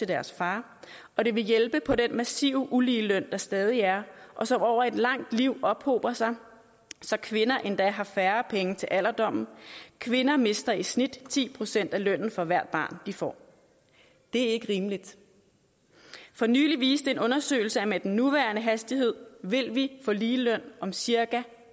deres far og det ville hjælpe på den massive ulige løn der stadig er og som over et langt liv ophober sig så kvinder endda har færre penge til alderdommen kvinder mister i snit ti procent af lønnen for hvert barn de får det er ikke rimeligt for nylig viste en undersøgelse at med den nuværende hastighed vil vi få ligeløn om cirka